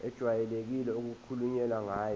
ejwayelekile okukhulunywe ngayo